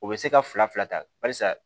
O bɛ se ka fila fila ta barisa